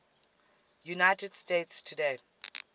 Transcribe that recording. united states today